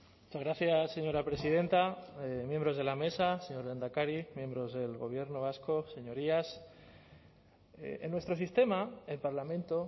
muchas gracias señora presidenta miembros de la mesa señor lehendakari miembros del gobierno vasco señorías en nuestro sistema el parlamento